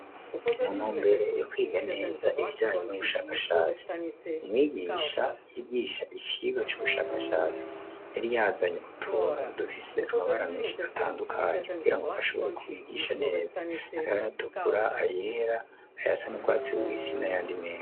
Mu ntumbere yo kwiga neza ibijanye n'ubushakashatsi, umwigisha yigisha icigwa c'ubushakashatsi, yari yazanye utuntu dufise amabara menshi atandukanye, kugira ngo ashobore kubigisha neza; hariho ayatukura, ayera ayasa n'urwatsi rubisi n'ayandi menshi.